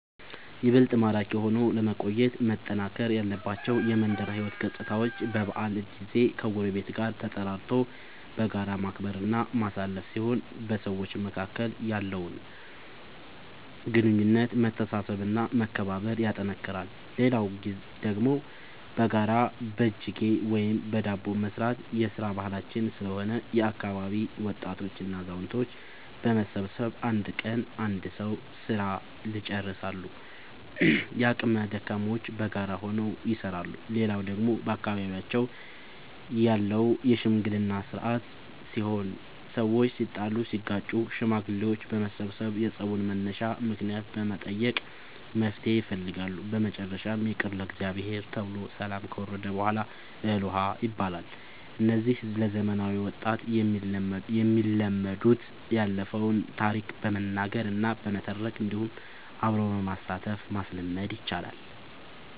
ይበልጥ ማራኪ ሆኖ ለመቆየት መጠናከር ያለባቸው የመንደር ሕይወት ገፅታዎች በበዓል ጊዜ ከጎረቤት ጋር ተጠራርቶ በጋራ ማክበር እና ማሳለፍ ሲሆን በሰዎች መካከል ያለውን ግንኙነት መተሳሰብ እና መከባበር ያጠነክራል። ሌላው ደግሞ በጋራ በጅጌ ወይም በዳቦ መስራት የስራ ባህላችን ስለሆነ የአካባቢ ወጣቶች እና አዛውቶች በመሰብሰብ አንድ ቀን የአንድ ሰዉ ስራ ልጨርሳሉ። የአቅመ ደካሞችንም በጋራ ሆነው ይሰራሉ። ሌላው ደግሞ በአካባቢያችን ያለው የሽምግልና ስርአት ሲሆን ሰዎች ሲጣሉ ሲጋጩ ሽማግሌዎች በመሰብሰብ የፀቡን መነሻ ምክንያት በመጠየቅ መፍትሔ ይፈልጋሉ። በመጨረሻም ይቅር ለእግዚአብሔር ተብሎ ሰላም ከወረደ በሗላ እህል ውሃ ይባላል። እነዚህ ለዘመናዊ ወጣት የሚለመዱት ያለፈውን ታሪክ በመናገር እና በመተረክ እንዲሁም አብሮ በማሳተፍ ማስለመድ ይቻላል።